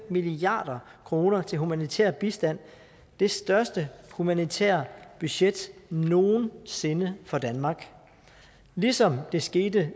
milliard kroner til humanitær bistand det største humanitære budget nogen sinde for danmark ligesom der skete